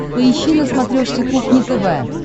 поищи на смотрешке кухня тв